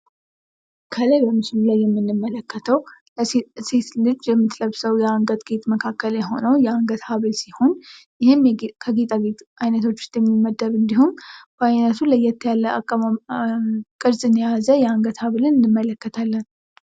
ከላይ ምስሉ ላይ የምንመለከተው ሴቶች አንገታቸው ላይ የሚያደርጉት ጌጥ የአንገት ሀብል ሲሆን በጣም ተወዳጅ እንዲሁም በአይነቱ ለየት ያለ ቅርፅን የያዘ የአንገት ጌጥ ነው ።